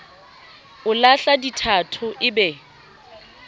o lahla dithatho e be